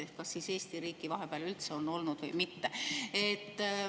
Ehk siis kas Eesti riiki vahepeal üldse on olnud või mitte?